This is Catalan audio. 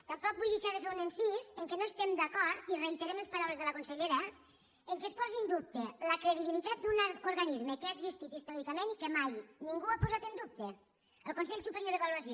tampoc vull deixar de fer un incís en què no estem d’acord i reiterem les paraules de la consellera que es posi en dubte la credibilitat d’un organisme que ha existit històricament i que mai ningú ha posat en dub·te el consell superior d’avaluació